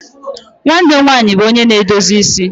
Nwanne m nwanyị bụ onye na-edozi isi.